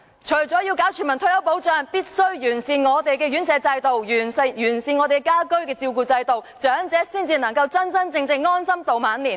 除了要推行全民退休保障外，政府必須完善長者院舍制度及家居照顧服務，長者才能真正安享晚年。